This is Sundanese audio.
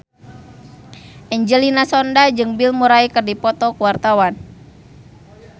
Angelina Sondakh jeung Bill Murray keur dipoto ku wartawan